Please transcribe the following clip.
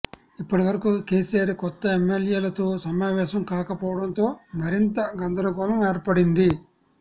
ఇప్పటివరకు కెసిఆర్ కొత్త ఎమ్మెల్యేలతో సమావేశం కాకపోవటంతో మరింత గందరగోళం ఏర్పడింది